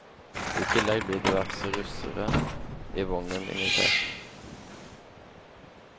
I tillegg blir diverse russere i vognen invitert.